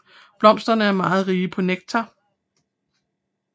Blomsterne er meget rige på nektar